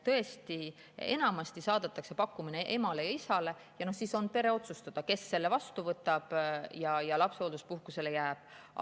Tõesti, enamasti saadetakse pakkumus emale ja isale ja siis on pere otsustada, kes selle vastu võtab ja lapsehoolduspuhkusele jääb.